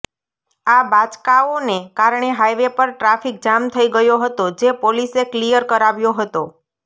આ બાચકાઓને કારણે હાઈવે પર ટ્રાફિક જામ થઈ ગયો હતો જે પોલીસે કલીયર કરાવ્યો હતો